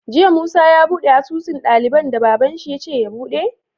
Jiya musa ya buɗe asusun daliban da baban shi yace ya buɗe?